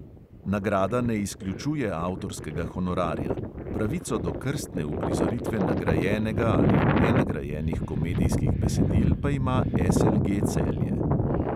Nagrada ne izključuje avtorskega honorarja, pravico do krstne uprizoritve nagrajenega ali nenagrajenih komedijskih besedil pa ima SLG celje.